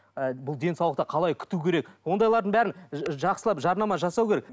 ы бұл денсаулықты қалай күту керек ондайлардың бәрін жақсылап жарнама жасау керек